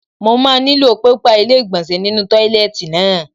Mo máa nílò pépà ilé ìgbọ̀nsẹ̀ nínú tọ́ílẹ́ẹ̀tì náà.